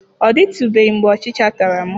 Ọ dịtụbeghị mgbe ọchịcha tara m.